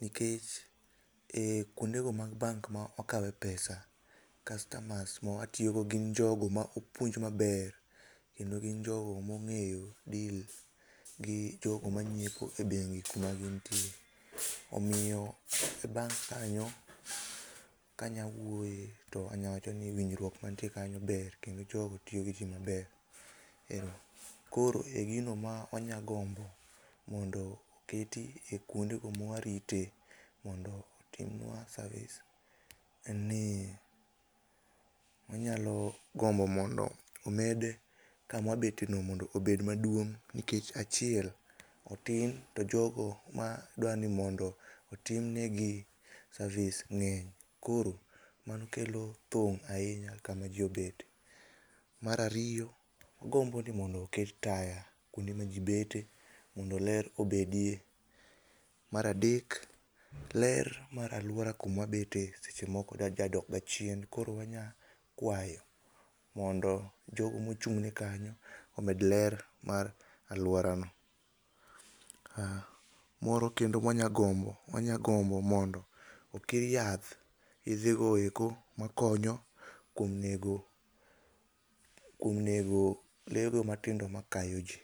nikecheh kuondego mag bank ma wakawe pesa, customers ma mawatiyo go gin jogo ma opuonj maber, kendo gin jogo mong'eyo deal gi jogo mang'iepo e bengi kuma gintie. Omiyo e bank kanyo kanyalo wuoye, to anyalo wacho ni winjruok mantie kanyo ber kendo jogo tiyo gi ji maber. Koro e gino ma anya gombo mondo keti e kuondego mwarite mondo timnua service. En ni wanyalo gombo mondo omedi kama wabetieno mondo obed maduong' nikech achiel, otin to jogo madwa ni mondo otim negi service ng'eny. Koro mano kelo thung‘ ahinya kama ji obetie. Mar ariyo, agombo ni mondo oket taya kuonde maji bete mondo ler obedie. Mar adek, ler mar aluora kuma wabete seche moko jadokga chien, koro wanyalo kuayo jogo mochung' ne kanyo omed ler mar aluorano. Ah moro kendo ma wanyalo gombo, wanyagombo mondo okir yath, yedhe go eko konyo kuom nego, kuom nego le go matindo makayo ji.